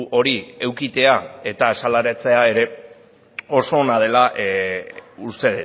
hori edukitzea eta azaleratzea ere oso ona dela uste